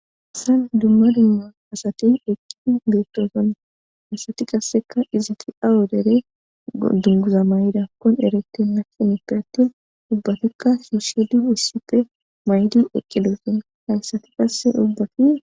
Assan dumma dumma asati eqqi geettosan asati qasseka izati awu dere dunguza mayida kon erette nakenippe attin ubbatikka sishil issippe maydi eqqe doyten hayssati qasse ubbati.